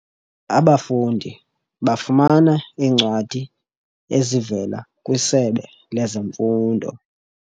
Abafundi bafumana iincwadi ezivela kwiSebe lezeMfundo.